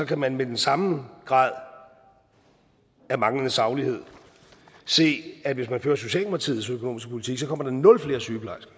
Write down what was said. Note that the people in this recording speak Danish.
kan man med den samme grad af manglende saglighed se at hvis man fører socialdemokratiets økonomiske politik kommer der nul flere sygeplejersker